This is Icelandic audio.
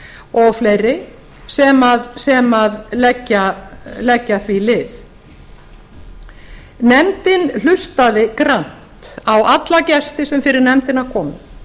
og fleiri sem leggja því lið nefndin hlustaði grannt á alla gesti sem fyrir nefndina komu